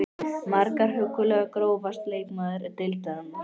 Margar huggulegar Grófasti leikmaður deildarinnar?